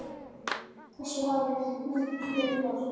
þessu hafði hún klifað.